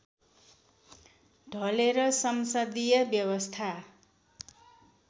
ढलेर संसदीय व्यवस्था